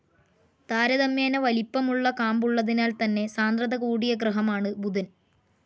താരതമ്യേന വലിപ്പമുള്ള കാമ്പുള്ളതിനാൽ തന്നെ സാന്ദ്രത കൂടിയ ഗ്രഹമാണ്‌ ബുധൻ.